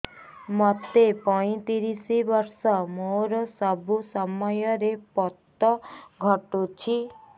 ମୋତେ ପଇଂତିରିଶ ବର୍ଷ ମୋର ସବୁ ସମୟରେ ପତ ଘଟୁଛି